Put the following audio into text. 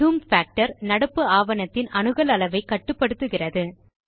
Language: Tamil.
ஜூம் பாக்டர் நடப்பு ஆவணத்தின் அணுகல் அளவை கட்டுப்படுத்துகிறது